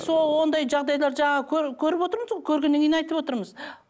ондай жағдайлар жаңағы көріп отырмыз ғой көргеннен кейін айтып отырмыз